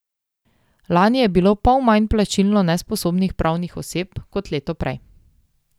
Lani je bilo pol manj plačilno nesposobnih pravnih oseb kot leto prej.